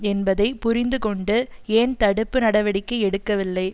என்பதை புரிந்துகொண்டு ஏன் தடுப்பு நடவடிக்கை எடுக்கவில்லை